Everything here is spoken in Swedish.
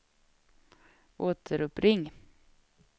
återuppring